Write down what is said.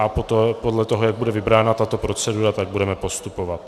A podle toho, jak bude vybrána tato procedura, tak budeme postupovat.